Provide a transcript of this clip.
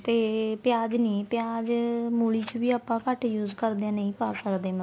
ਤੇ ਪਿਆਜ ਨੀ ਪਿਆਜ ਮੂਲੀ ਚ ਵੀ ਆਪਾਂ ਘੱਟ use ਕਰਦੇ ਆ ਨਹੀਂ ਪਾ ਸਕਦੇ